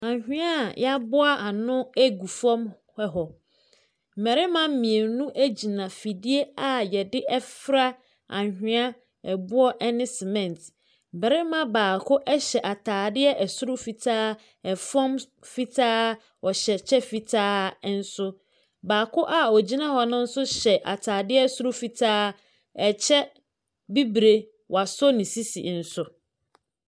Anwea ayɛaboa ano gu fam hɔ. mmarima mmienu a yɛde fora anwea, aboɔ ne sɛmɛnte. Barima baako hyɛ ataade soro fitaa, fam fitaa, ɔhyɛ kyɛ fitaa nso. Baako a ogyina hɔ no nso hyɛ ataade soro fitaa, kyɛ bibire, wɔasɔ ne sisi nso.